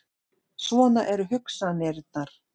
Svona eru hugsanirnar.